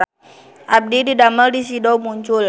Abdi didamel di Sido Muncul